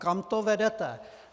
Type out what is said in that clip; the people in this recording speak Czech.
Kam to vedete!